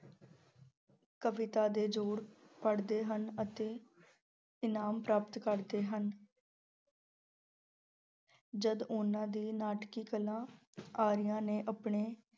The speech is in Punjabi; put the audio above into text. ਕਵਿਤਾ ਦੇ ਜੋੜ ਪੜ੍ਹਦੇ ਹਨ ਅਤੇ ਇਨਾਮ ਪ੍ਰਾਪਤ ਕਰਦੇ ਹਨ ਜਦ ਉਹਨਾਂ ਦੀ ਨਾਟਕੀ ਕਲਾ ਆਰੀਆਂ ਨੇ ਆਪਣੇ